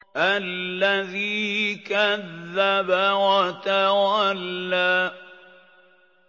الَّذِي كَذَّبَ وَتَوَلَّىٰ